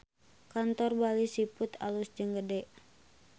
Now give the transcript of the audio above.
Kantor Bali Seafood alus jeung gede